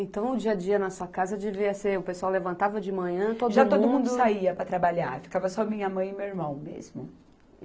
Então, o dia a dia na sua casa devia ser, o pessoal levantava de manhã, todo mundo... Já todo mundo saía para trabalhar, ficava só minha mãe e meu irmão mesmo.